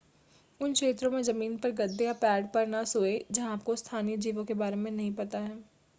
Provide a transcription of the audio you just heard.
उन क्षेत्रों में ज़मीन पर गद्दे या पैड पर न सोएं जहां आपको स्थानीय जीवों के बारे में नहीं पता है